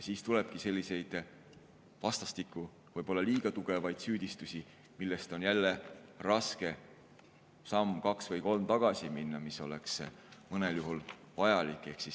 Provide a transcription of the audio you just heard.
Siis tulebki selliseid vastastikku võib-olla liiga tugevaid süüdistusi, millest on jälle raske samm, kaks või kolm tagasi minna, kuigi see oleks mõnel juhul vajalik.